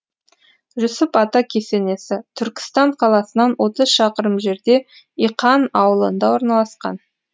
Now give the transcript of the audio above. жүсіп ата кесенесі түркістан қаласынан отыз шақырым жерде иқан аулында орналасқан